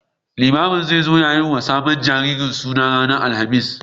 Limamin zai zo ya yi wa sabon jariri suna ranar Alhamis.